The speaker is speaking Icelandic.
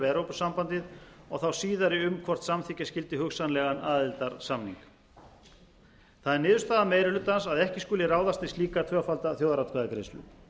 evrópusambandið og þá síðari um hvort samþykkja skyldi hugsanlegan aðildarsamning það er niðurstaða meiri hlutans að ekki skuli ráðast í slíka tvöfalda þjóðaratkvæðagreiðslu